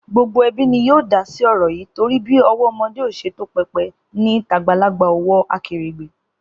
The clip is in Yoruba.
Gbogbo ẹbí ni yóò dásí ọ̀rọ̀ yìí torí bí ọwọ́ ọmọdé ò ṣe tó pẹpẹ ni tàgbàlagbà ò wọ akèrègbè